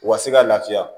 U ka se ka lafiya